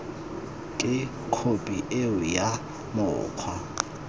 ke khophi eo ya mokgwa